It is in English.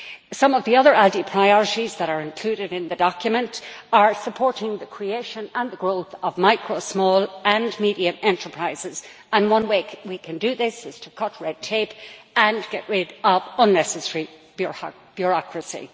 Some of the other ALDE priorities that are included in the document are supporting the creation and the growth of micro, small and medium enterprises, and one way we can do that is to cut red tape and get rid of unnecessary bureaucracy.